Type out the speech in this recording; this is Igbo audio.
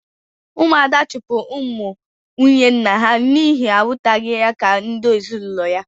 Ụmụ Ada chụpụrụ ụmụ nwunye nna ha n'ihi na ha ahụtaghị ha ka ndi ezinulo ha. -